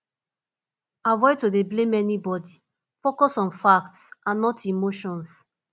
avoid to dey blame anybody focus on facts and not emotions